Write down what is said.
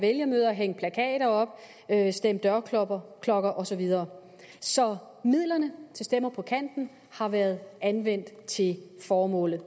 vælgermøder hængt plakater op stemt dørklokker og så videre så midlerne til stemmer på kanten har været anvendt til formålet